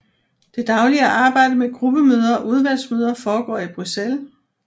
Det daglige arbejde med gruppemøder og udvalgsmøder foregår i Bruxelles